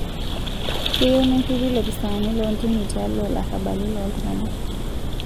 Keyieu nerripi lopisaani loo ntimi tialo larrabali loo ltung'ana